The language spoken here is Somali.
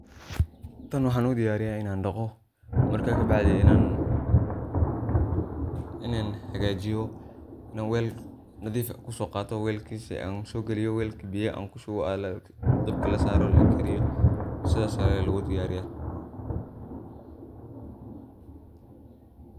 tan waxaan udiyariya inan dhaqo marka kabacdi inan hagajiyo inan wel nadiif eh kusoo qato welkisa an soo geliyo, welka an biya kushubo, dabka lasaaro lakariyo, sidaas aya lugu diyaariya